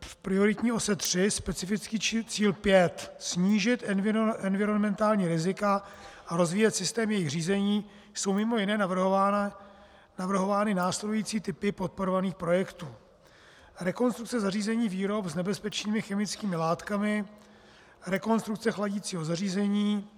v prioritní ose tři, specifický cíl pět snížit environmentální rizika a rozvíjet systém jejich řízení jsou mimo jiné navrhovány následující typy podporovaných projektů: rekonstrukce zařízení výrob s nebezpečnými chemickými látkami; rekonstrukce chladicího zařízení;